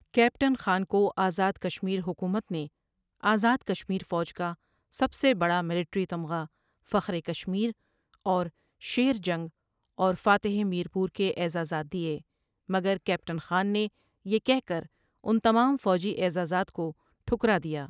Captain Khan کو آزاد کشمیر حکومت نے آزاد کشمیر فوج کا سب سے بڑا ملٹری تمغا فخرے کشمیر اور شیر جنگ اور فاتح میرپور کے عزازات دیے مگر کیپٹن خان نے یہ کہہ کر ان تمام فوجی اعزازات کو ٹھکرا دیا۔